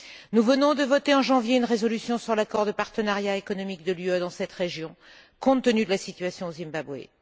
Nous venons de voter en janvier une résolution sur l'accord de partenariat économique de l'UE dans cette région, compte tenu de la situation au Zimbabwe.